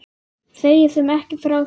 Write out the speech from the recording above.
Segi þeim ekki frá því.